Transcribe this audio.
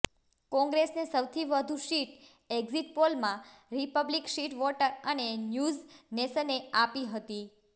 કોંગ્રેસને સૌથી વધુ સીટ એક્ઝિટ પોલમાં રિપબ્લિક સીટ વોટર અને ન્યૂઝ નેશને આપી હતી